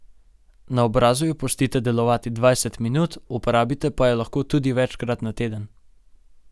Na obrazu jo pustite delovati dvajset minut, uporabite pa jo lahko tudi večkrat na teden.